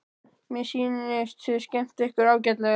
Mér sýnist þið skemmta ykkur ágætlega.